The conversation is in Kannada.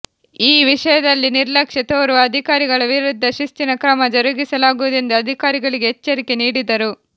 ಈ ವಿಷಯದಲ್ಲಿ ನಿರ್ಲಕ್ಷ್ಯ ತೋರುವ ಅಧಿಕಾರಿಗಳ ವಿರುದ್ಧ ಶಿಸ್ತಿನ ಕ್ರಮ ಜರುಗಿಸಲಾಗುವುದೆಂದು ಅಧಿಕಾರಿಗಳಿಗೆ ಎಚ್ಚರಿಕೆ ನೀಡಿದರು